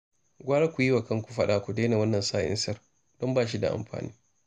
Gwara ku yi wa kanku fada ku daina wannan sa'insar, don ba shi da wani amfani